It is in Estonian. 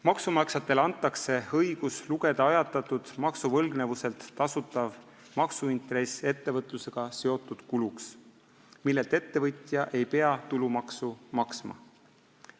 Maksumaksjatele antakse õigus lugeda ajatatud maksuvõlgnevuselt tasutav maksuintress ettevõtlusega seotud kuluks, millelt ettevõtja ei pea tulumaksu maksma.